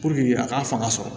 a k'a fanga sɔrɔ